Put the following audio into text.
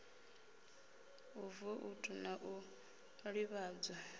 ha voutu na u ḓivhadzwa